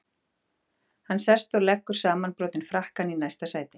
Hann sest og leggur samanbrotinn frakkann í næsta sæti.